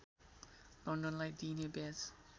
लन्डनलाई दिइने ब्याज